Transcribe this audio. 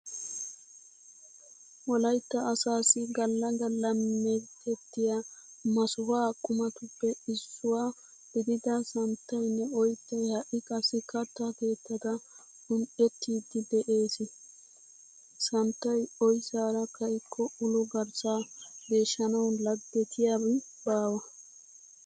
Wolaytta asaassi galla galla meetettiya masuha qumatuppe issuwa gidida santtaynne oyttay ha"i qassi katta keettata un"ettiiddi de'ees. santtay oyssaara ka'ikko ulo garssaa geeshshanawu laggetiyabi baawa.